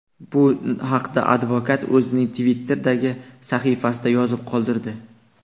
Bu haqda advokat o‘zining Twitter’dagi sahifasida yozib qoldirdi .